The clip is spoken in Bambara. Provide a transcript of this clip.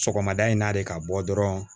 Sɔgɔmada in n'a de ka bɔ dɔrɔn